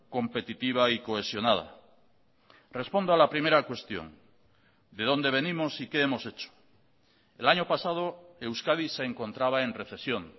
competitiva y cohesionada respondo a la primera cuestión de dónde venimos y qué hemos hecho el año pasado euskadi se encontraba en recesión